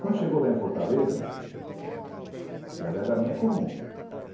Quando chegou lá em Fortaleza, ela é da minha comum.